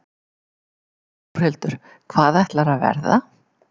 Þórhildur: Hvað ætlarðu að verða?